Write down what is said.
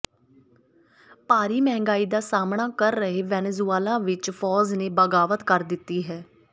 ਭਾਰੀ ਮਹਿੰਗਾਈ ਦਾ ਸਾਹਮਣਾ ਕਰ ਰਹੇ ਵੇਨੇਜੁਏਲਾ ਵਿੱਚ ਫੌਜ ਨੇ ਬਗਾਵਤ ਕਰ ਦਿੱਤੀ ਹੈ